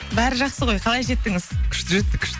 бәрі жақсы ғой қалай жеттіңіз күшті жеттік